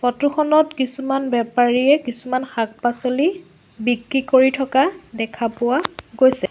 Photo খনত কিছুমান বেপাৰীয়ে কিছুমান শাক-পাছলি বিক্ৰী কৰি থকা দেখা পোৱা গৈছে।